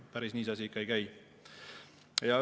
Päris nii see asi ikka ei käi.